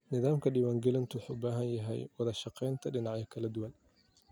Nidaamka diiwaan-gelintu wuxuu u baahan yahay wada-shaqeynta dhinacyada kala duwan.